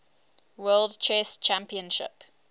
world chess championship